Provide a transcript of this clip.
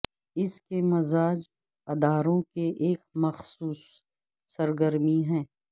اس کے مجاز اداروں کے ایک مخصوص سرگرمی ہے